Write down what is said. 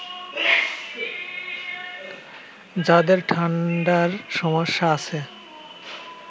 যাদের ঠাণ্ডার সমস্যা আছে